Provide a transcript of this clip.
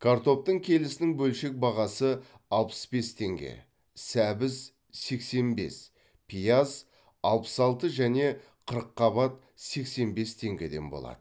картоптың келісінің бөлшек бағасы алпыс бес теңге сәбіз сексен бес пияз алпыс алты және қырыққабат сексен бес теңгеден болады